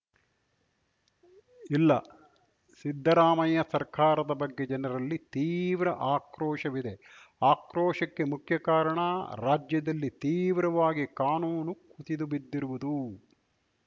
ಇಲ್ಲ ಸಿದ್ದರಾಮಯ್ಯ ಸರ್ಕಾರದ ಬಗ್ಗೆ ಜನರಲ್ಲಿ ತೀವ್ರ ಆಕ್ರೋಶವಿದೆ ಆಕ್ರೋಶಕ್ಕೆ ಮುಖ್ಯ ಕಾರಣ ರಾಜ್ಯದಲ್ಲಿ ತೀವ್ರವಾಗಿ ಕಾನೂನು ಕುಸಿದುಬಿದ್ದಿರುವುದು